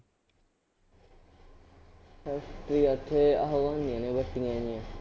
Factory ਆ ਉੱਥੇ ਆਹ ਉਹ ਨੇ ਜਿਹੀਆਂ